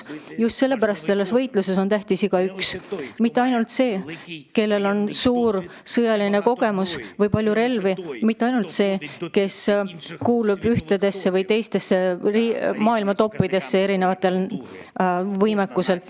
Just sellepärast on selles võitluses tähtis igaüks, mitte ainult see, kellel on suur sõjaline kogemus või palju relvi, mitte ainult see, kes erinevate näitajate alusel kuulub ühe või teise võimekuse poolest maailma paremikku.